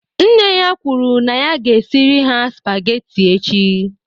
Nne ya kwuru na ya ga-esiri ha spaghetti echi